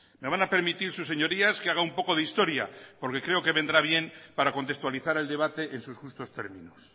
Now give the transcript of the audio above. me van a permitir sus señorías que haga un poco de historia porque creo que vendrá bien para contextualizar el debate en sus justos términos